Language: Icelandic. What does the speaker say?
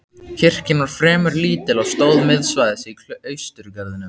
Kirkjan var fremur lítil og stóð miðsvæðis í klausturgarðinum.